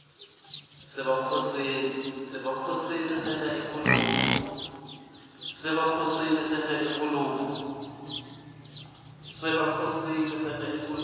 sebakhoseli senta inkhulumo